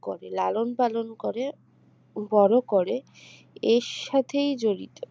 করে লালন পালন করে বড় করে এর সাথেই জড়িত